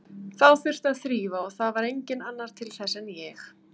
Þá þurfti að þrífa og það var enginn annar til þess en ég.